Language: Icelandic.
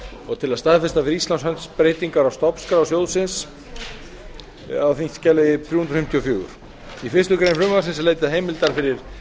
og til að staðfesta fyrir íslands hönd breytingar á stofnskrá sjóðsins á þingskjali þrjú hundruð fimmtíu og fjögur í fyrstu grein frumvarpsins er leitað heimildar fyrir